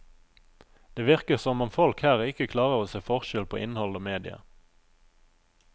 Det virker som om folk her ikke klarer å se forskjell på innhold og mediet.